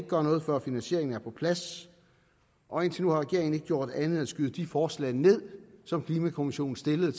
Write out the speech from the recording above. gøre noget før finansieringen er på plads og indtil nu har regeringen ikke gjort andet end at skyde de forslag ned som klimakommissionen stillede